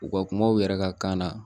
U ka kuma u yɛrɛ ka kan na